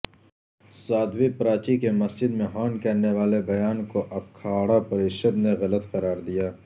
سادھوی پراچی کے مسجد میں ہون کرنے والے بیان کواکھاڑا پریشد نے غلط قراردیا